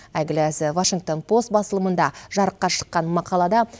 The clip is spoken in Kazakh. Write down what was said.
әйгілі дзе вашингтон пост басылымында жарыққа шыққан мақалада